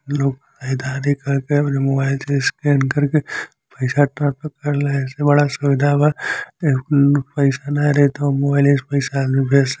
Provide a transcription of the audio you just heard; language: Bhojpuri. लोग करत के अपने मोबाईल से स्कैन कर के पईसा ट्रांसफर करे ला। ऐसे बड़ा सुविधा बा ए कुल पईसा ना रही त मोबाईले से पईसा आदमी भेज स --